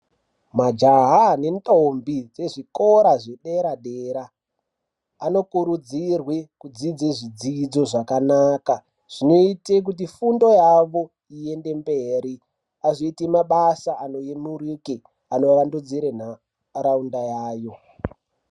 Majaha nendombi dzezvezvikora zvedera-dera, anokurudzirwe kudzidze zvidzidzo zvakanaka. Zvinote kuti fundo yavo iyende mberi azoite mabasa anoyemurike anovandudzire ntaraunda yayo.